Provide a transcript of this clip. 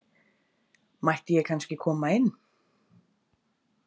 Mætti ég kannski koma inn?